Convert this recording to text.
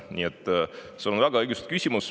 Nii et sul on väga õigustatud küsimus.